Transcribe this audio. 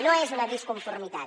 no és una disconformitat